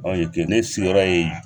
ye te ne sigiyɔrɔ ye